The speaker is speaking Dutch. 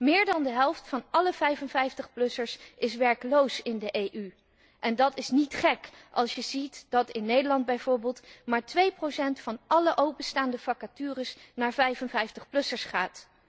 Meer dan de helft van alle 55 plussers in de EU is werkloos en dat is niet gek als je ziet dat in Nederland bijvoorbeeld maar 2 van alle openstaande vacatures naar 55 plussers gaat.